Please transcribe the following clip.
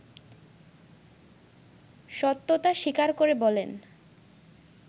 সত্যতা স্বীকার করে বলেন